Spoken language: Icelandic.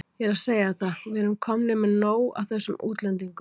Ég er að segja þér það, við erum komnir með nóg af þessum útlendingum.